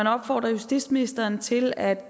opfordre justitsministeren til at